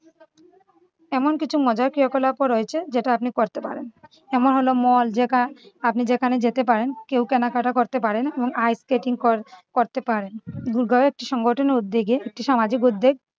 এমন কিছু মজার ক্রিয়াকলাপও রয়েছে যেটা আপনি করতে পারেন যেমন হলো mall যেখা~ আপনি যেখানে যেতে পারেন কেউ কেনাকাটা করতে পারেন এবং ice-scatting কর~করতে পারেন। গুরগাঁও একটি সংগঠনের উদ্যোগে একটি সামাজিক উদ্যোগ